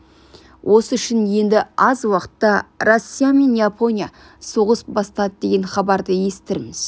осы үшін енді аз уақытта россия мен япония соғыс бастады деген хабарды естірміз